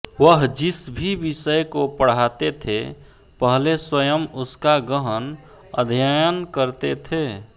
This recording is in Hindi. वह जिस भी विषय को पढ़ाते थे पहले स्वयं उसका गहन अध्ययन करते थे